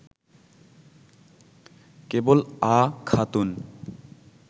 কেবল “আ” খাতুন